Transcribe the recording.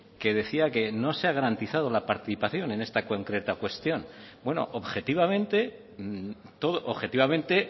que decía que no se ha garantizado la participación en esta concreta cuestión bueno objetivamente objetivamente